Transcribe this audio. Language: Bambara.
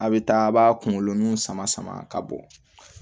A' bɛ taa a b'a kunkolo nun sama sama ka bɔ